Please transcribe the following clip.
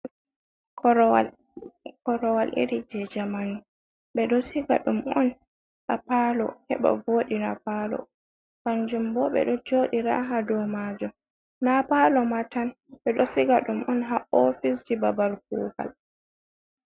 Korowal, korowal iri jey jamanu, ɓe ɗo siga ɗum on haa paalo, heɓa vooɗiina paalo. Kanjum bo ɓe ɗo jooɗira haa dow maajum, naa paalo ma tan, ɓe ɗo siga ɗum on, haa ofisji babal kuugal.